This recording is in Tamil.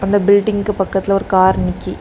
அந்த பில்டிங்க்கு பக்கத்துல ஒரு கார் நிக்கி.